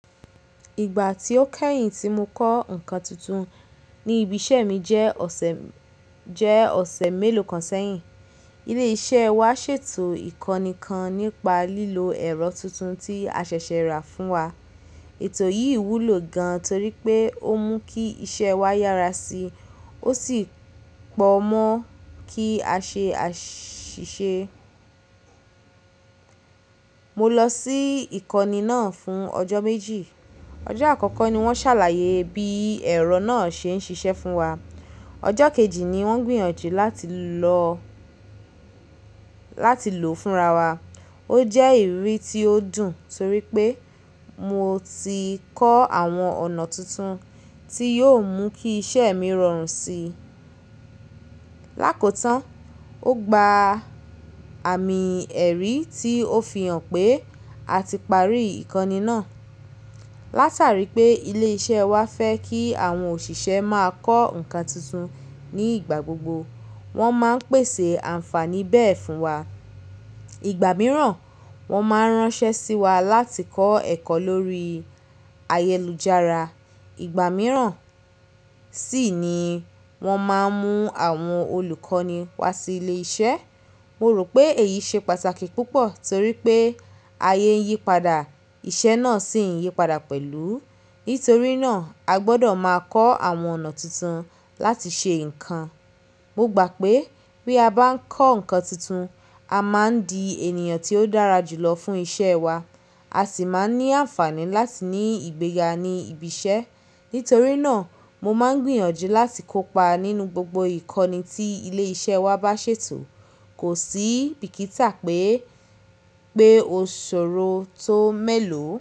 Ìgbà tí ó kẹ́yìn tí mo kọ́ nǹkan tuntun ní ibi iṣẹ́ mi jẹ́ ọ̀sẹ̀, jẹ́ ọ̀sẹ̀ mélòó kan sẹ́yìn. Ilé iṣẹ́ wa ṣètò ìkọ́ni kan nípa lílo ẹ̀rọ tuntun tí a ṣẹ̀ṣẹ̀ rà fún wa. Ètò yìí wúlò gan torí pé ó mú kí iṣẹ́ wa yára si, ó sì pọ̀ mọ́ kí a ṣe àṣìṣe. Mo lọ sí ìkọ́ni náà fún ọjọ́ méjì. Ọjọ́ àkọ́kọ́ ni wọ́n ṣàlàyé bí ẹ̀rọ náà ṣe ń ṣiṣẹ́ fún wa. Ọjọ́ kejì ni wọ́n gbìyànjú láti lọ láti lò fúnra wa. Ó jẹ́ ìrírí tí ó dùn torí pé mo ti kọ́ àwọn ọ̀nà tuntun tí yóò mú kí iṣẹ́ mi rọrùn si. Lákòtán, ó gba àmì ẹ̀rí tí ó fi hàn pé a ti parí ìkọ́ni náà. Látàrí pé ilé iṣẹ́ wa fẹ́ kí àwọn òṣìṣẹ́ máa kọ́ nǹkan tuntun ní ìgbà gbogbo, wọ́n máa ń pèsè ànfàní bẹ́ẹ̀ fún wa. Ìgbà mìíràn, wọ́n máa ń ránṣẹ́ sí wa láti kọ́ ẹ̀kọ́ lórí ayélujára. Ìgbà mìíràn sì ni wọ́n máa ń mú àwọn olùkọ́ni wá sí ilé iṣẹ́. Mo rò pé èyí ṣe pàtàkì púpọ̀ torí pé ayé ń yípadà, iṣẹ́ náà sì ń yípadà pẹ̀lú. Nítorí náà, a gbọ́dọ̀ máa kọ́ àwọn ọ̀nà tuntun láti ṣe nǹkan. Mo gbà pé bí a bá ń kọ́ nǹkan tuntun, a máa ń di ènìyàn tí ó dára jù lọ fún iṣẹ́ wa, a sì máa ń ní ànfàní láti ní ìgbéga ní ibi iṣẹ́. Nítorí náà, mo máa ń gbìyànjú láti kópa nínú gbogbo ìkọ́ni tí ilé iṣẹ́ wa bá ṣètò. Kò sí bìkítà pé, pé òṣòro tó mélòó.